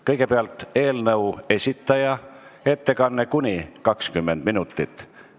Kõigepealt on eelnõu esitaja ettekanne, mis kestab kuni 20 minutit.